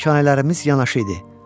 Malikhanələrimiz yanaşı idi.